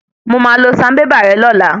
Mo máa lọ sanbébà rè lọ́la.